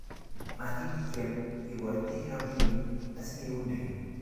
matityem ikoite robinik asikeunden